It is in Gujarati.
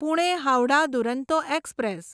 પુણે હાવડા દુરંતો એક્સપ્રેસ